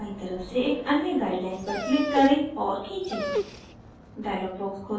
canvas पर बायीं तरफ से एक अन्य guideline पर click करें और खींचे